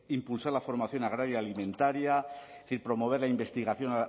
impulsar la formación agraria alimentaria promover la investigación